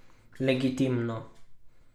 Legitimno!